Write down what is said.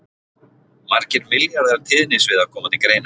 Margir milljarðar tíðnisviða koma til greina.